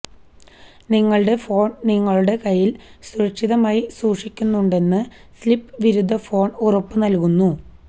നിങ്ങളുടെ ഫോൺ നിങ്ങളുടെ കയ്യിൽ സുരക്ഷിതമായി സൂക്ഷിക്കുന്നുണ്ടെന്ന് സ്ലിപ്പ് വിരുദ്ധ ഫോൺ ഉറപ്പു നൽകുന്നു